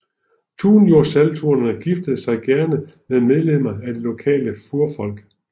Tunjursultanerne giftede sig gerne med medlemmer af det lokale furfolk